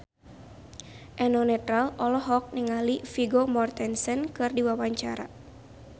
Eno Netral olohok ningali Vigo Mortensen keur diwawancara